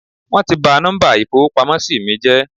Wón ti ba nọ́mbà ìfowópamósí mí jẹ́